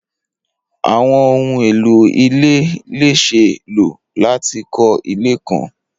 Awọn ohun elo ile le ṣee lo lati kọ ile kan